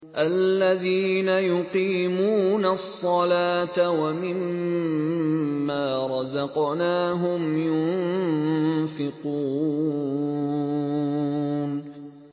الَّذِينَ يُقِيمُونَ الصَّلَاةَ وَمِمَّا رَزَقْنَاهُمْ يُنفِقُونَ